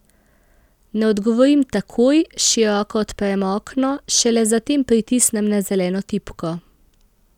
Ne odgovorim takoj, široko odprem okno, šele zatem pritisnem na zeleno tipko.